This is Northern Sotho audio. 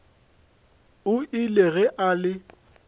o ile ge a le